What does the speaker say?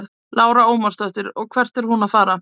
Lára Ómarsdóttir: Og hvert er hún að fara?